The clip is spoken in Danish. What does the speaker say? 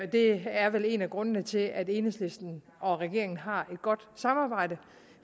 det er vel en af grundene til at enhedslisten og regeringen har et godt samarbejde